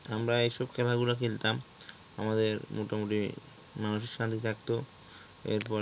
আমরা এইসব খেলা গুলা খেলতাম আমাদের মোটামুটি মানসিক শান্তি থাকতো এরপরে